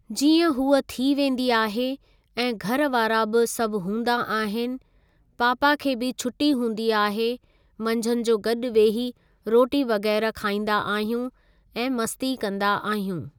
जीअं हूअ थी वेंदी आहे ऐं घरु वारा बि सभु हूंदा आहिनि पापा खे भी छुट्टी हूंदी आहे मंझंदि जो गॾु वेही रोटी वग़ैरह खाईंदा आहियूं ऐं मस्ती कंदा आहियूं।